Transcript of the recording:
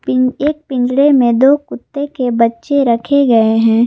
Pin एक पिंजड़े में दो कुत्ते के बच्चे रखे गए हैं।